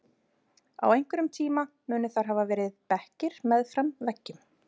Á einhverjum tíma munu þar hafa verið bekkir meðfram veggjum.